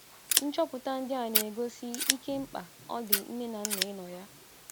Nchọpụta ndị a na - egosi ike mkpa ọ dị nne na nna ịnọ ya.